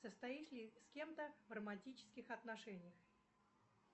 состоит ли с кем то в романтических отношениях